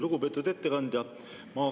Lugupeetud ettekandja!